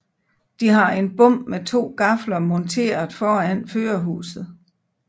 De har en bom med to gafler monteret foran førerhuset